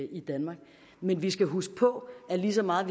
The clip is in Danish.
i danmark men vi skal huske på at lige så meget